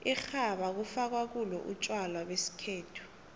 irhabha kufakwa kulo utjwala besikhethu